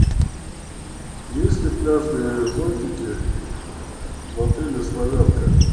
есть ли пляжные зонтики в отеле славянка